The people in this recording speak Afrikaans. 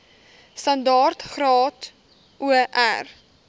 standaard graad or